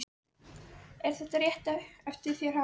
Karen Kjartansdóttir: Er þetta rétt eftir þér haft?